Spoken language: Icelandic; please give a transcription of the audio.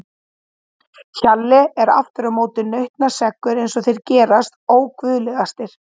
Hjalli er aftur á móti nautnaseggur eins og þeir gerast óguðlegastir.